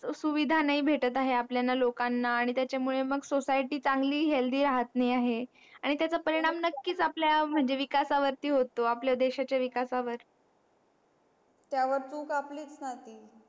त्या सुविधा नाही भेटत आहे आपल्याला लोकांना आणि त्याचा मूळ society चांगली healthy राहत नाही आहे आणि त्याच परिणाम नक्कीच आपल्या विकास वरती होतो आपल्या देशाचा विकासावर